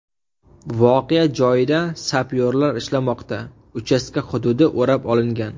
Voqea joyida sapyorlar ishlamoqda, uchastka hududi o‘rab olingan.